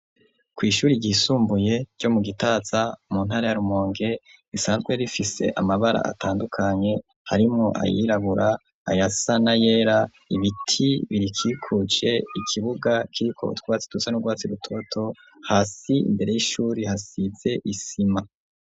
Kwi'ishuri shuri ryisumbuye ryo mu gitaza mu ntara ya Rumonge risanzwe rifise amabara atandukanye harimo ayirabura ayasana yera ibiti birikikuje ikibuga kiriko utwatsi dusa n'urwatsi rutoto, hasi imbere y'ishuri hasize isima.